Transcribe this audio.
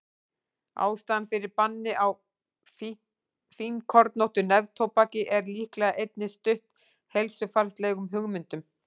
ástæðan fyrir banni á fínkornóttu neftóbaki er líklega einnig stutt heilsufarslegum hugmyndum